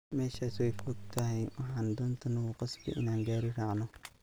Meshas waifogthy waxan dhanta nakukasbi inan gawari raacno.